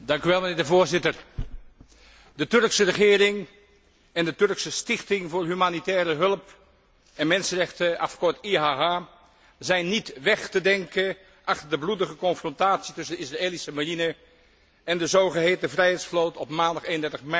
Voorzitter, de Turkse regering en de Turkse Stichting voor humanitaire hulp en mensenrechten, afgekort IHH, zijn niet weg te denken achter de bloedige confrontatie tussen de Israëlische marine en de zogeheten vrijheidsvloot op maandag 31 mei.